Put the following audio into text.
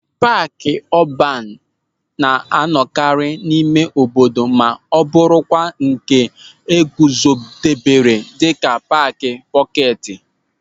Paaki ọban na-anọkarị n'ime obodo ma bụrụkwa nke e guzobere dịka paaki pọketi.